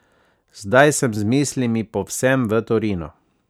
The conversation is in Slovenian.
Zdaj sem z mislimi povsem v Torinu.